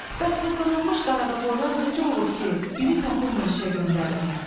Bəs bu qırılmış qaradavoylar necə olub ki, biri tapılmır işə göndərim.